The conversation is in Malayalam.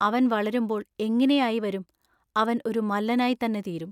അവൻ വളരുമ്പോൾ എങ്ങിനെയായി വരും. അവൻ ഒരു മല്ലനായിത്തന്നെ തീരും.